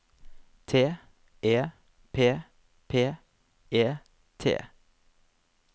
T E P P E T